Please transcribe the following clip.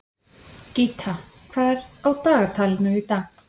Gíta, hvað er á dagatalinu í dag?